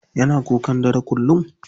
Yana kukan dare kullum?